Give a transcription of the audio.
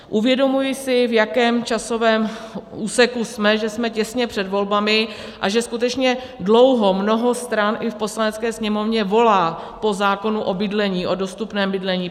Uvědomuji si, v jakém časovém úseku jsme, že jsme těsně před volbami a že skutečně dlouho mnoho stran i v Poslanecké sněmovně volá po zákonu o bydlení, o dostupném bydlení.